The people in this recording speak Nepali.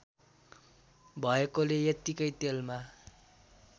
भएकोले यत्तिकै तेलमा